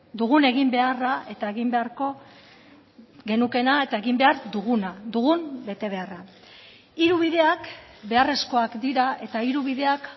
dugun eginbeharra eta egin beharko genukeena eta egin behar duguna dugun betebeharra hiru bideak beharrezkoak dira eta hiru bideak